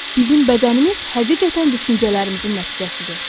Bizim bədənimiz həqiqətən düşüncələrimizin nəticəsidir.